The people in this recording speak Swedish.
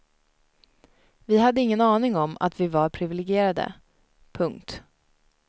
Vi hade ingen aning om att vi var privilegierade. punkt